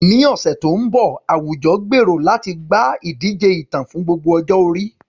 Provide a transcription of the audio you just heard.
Ní ọ̀sẹ̀ tó ń bọ̀, àwùjọ gbèrò láti gba ìdíje ìtàn fún gbogbo ọjọ́ orí.